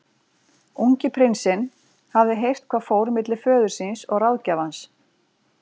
Ungi prinsinn hafði heyrt hvað fór milli föður síns og ráðgjafans.